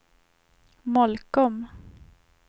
Molkom